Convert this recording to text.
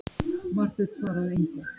Marteinn svaraði engu.